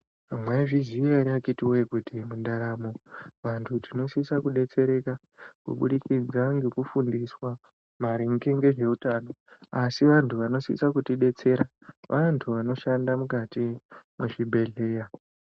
Mwaizviziya ere akhitiwee kuti mundaramo, vantu tinosisa kudetsereka, kuburikidza ngekufundiswa maringe ngezveutano, asi vantu vanosisa kutidetsera, vantu vanoshanda mukati mwezvibhedhlera.